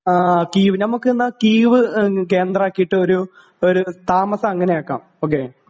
ആ ആ കീവ് നമ്മക്കു എന്നാൽ കീവ് കേന്ദ്രമാക്കിയിട്ട് ഒരു ഒരു താമസം അങ്ങനെ ആക്കാം ഓ ക ഏ